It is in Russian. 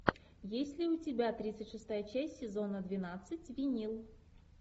есть ли у тебя тридцать шестая часть сезона двенадцать винил